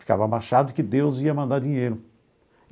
Ficava abaixado que Deus ia mandar dinheiro.